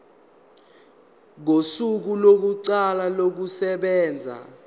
kosuku lokuqala kokusebenza